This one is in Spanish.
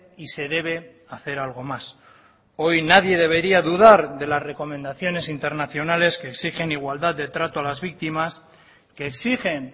y se debe hacer algo más hoy nadie debería dudar de las recomendaciones internacionales que exigen igualdad de trato a las víctimas que exigen